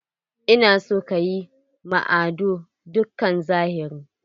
Ina son kayi ma Ado dukkan zahiri!